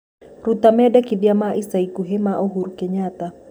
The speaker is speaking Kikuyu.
Rũta mendekithia ma ĩca ĩkũhĩ ma uhuru kenyatta